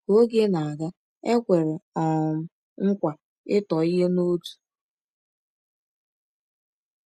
Ka oge na-aga, e kwere um nkwa ịtọ ihe n’otu.